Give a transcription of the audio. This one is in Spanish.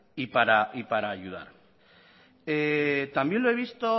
y para ayudar también lo he visto